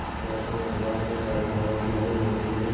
आलोकमय प्रभात में तारिकाओं की मधुर ज्योति में